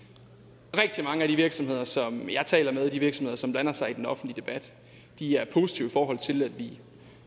rigtig mange af de virksomheder som jeg taler med og de virksomheder som blander sig i den offentlige debat er positive i forhold til at vi